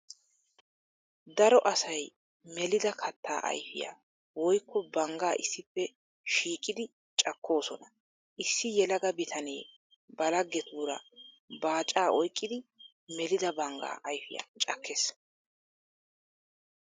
Daro asay melidda katta ayfiya woykko bangga issippe shiiqiddi cakkosonna. Issi yelaga bitane ba lagettura baaca oyqqiddi melidda bangga ayfiya cakees.